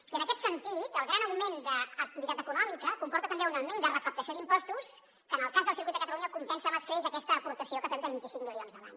i en aquest sentit el gran augment d’activitat econòmica comporta també un augment de recaptació d’impostos que en el cas del circuit de catalunya compensa amb escreix aquesta aportació que fem de vint cinc milions l’any